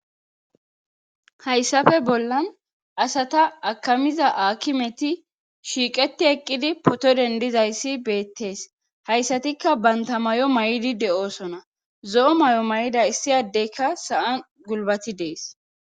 hayssafe bollan asata akamiza aakimeti shiiqeti eqqidi poto dendizayssi beettees hayssatikka banta may7o may7idi de7osona zo7o may7o may7ida issiyaddeykka sa7an gulbati dees